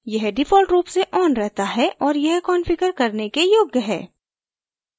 यह default रूप से on रहता है और यह कंफिगर करने के योग्य है